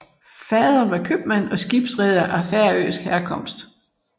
Faderen var købmand og skibsreder af færøsk herkomst